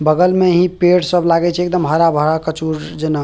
बगल में ही पेड़ सब लागे छै एकदम हरा-भरा कचूर जना।